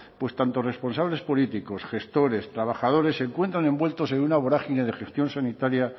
pues tanto responsables políticos gestores trabajadores se encuentran envueltos en una vorágine de gestión sanitaria